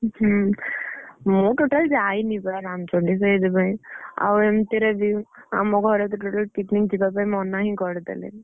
ହୁଁ ମୁଁ total ଯାଇନି ବା ରାମଚଣ୍ଡୀ ସେଇଥିପାଇଁ ଆଉ ଏମିତି ରେ ବି ଆମ ଘରେ ବି totally picnic ଯିବାପାଇଁ ମନା ହିଁ କରିଦେଲେ।